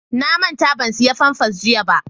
na manta ban saya famfas jiya ba